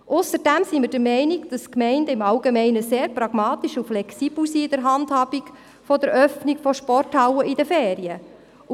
Wir sind der Meinung, dass die Gemeinden im Allgemeinen sehr pragmatisch und flexibel in der Handhabung der Öffnung von Sporthallen während der Ferien sind.